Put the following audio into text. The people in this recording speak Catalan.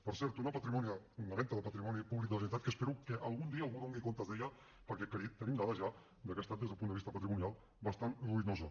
per cert una venda de patrimoni públic de la generalitat que espero que algun dia algú en doni comptes perquè tenim dades ja de que ha estat des del punt de vista patrimonial bastant ruïnosa